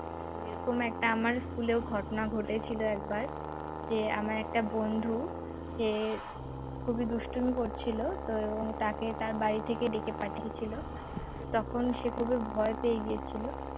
ওরকম একটা আমার school এও ঘটনা ঘটেছিল একবার যে আমার একটা বন্ধু সে খুবই দুষ্টুমি করছিল তো তাকে তার বাড়ি থেকে ডেকে পাঠিয়েছিল তখন সে খুবই ভয় পেয়ে গিয়েছিল